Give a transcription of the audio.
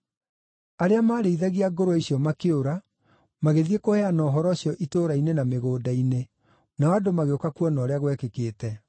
Arĩa maarĩithagia ngũrwe icio makĩũra, magĩthiĩ kũheana ũhoro ũcio itũũra-inĩ na mĩgũnda-inĩ, nao andũ magĩũka kuona ũrĩa gwekĩkĩte.